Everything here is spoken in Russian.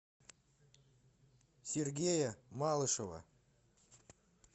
сергея малышева